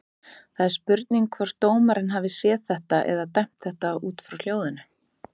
Það er spurning hvort dómarinn hafi séð þetta eða dæmt þetta út frá hljóðinu?